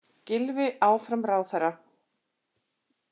Gylfi áfram ráðherra